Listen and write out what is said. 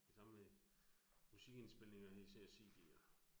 Det samme med musikindspilninger især CD'er